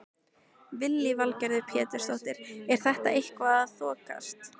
Lillý Valgerður Pétursdóttir: Er þetta eitthvað að þokast?